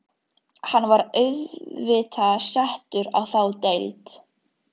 Hann var auðvitað settur í þá deild.